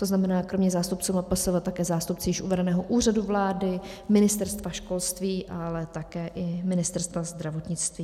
To znamená, kromě zástupců MPSV také zástupci již uvedeného Úřadu vlády, Ministerstva školství, ale také i Ministerstva zdravotnictví.